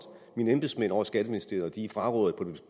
mine embedsmænd ovre i skatteministeriet og de frarådede